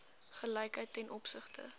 gelykheid ten opsigte